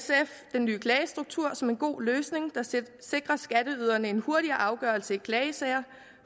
den nye klagestruktur som en god løsning der sikrer skatteyderne en hurtigere afgørelse i klagesager